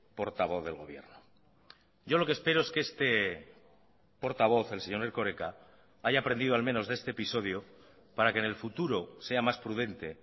portavoz del gobierno yo lo que espero es que este portavoz el señor erkoreka haya aprendido al menos de este episodio para que en el futuro sea más prudente